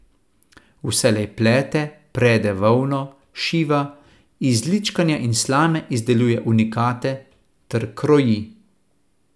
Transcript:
Vselej plete, prede volno, šiva, iz ličkanja in slame izdeluje unikate, ter kroji.